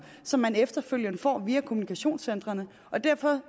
som man efterfølgende får via kommunikationscentrene og derfor